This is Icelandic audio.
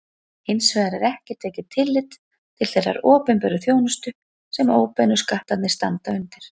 Hins vegar er ekki tekið tillit til þeirrar opinberu þjónustu sem óbeinu skattarnir standa undir.